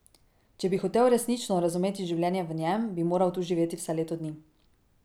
Če bi hotel resnično razumeti življenje v njem, bi moral tu živeti vsaj leto dni.